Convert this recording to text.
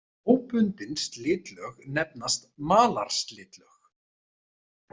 Óbundin slitlög nefnast malarslitlög.